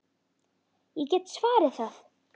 Ég get svarið það.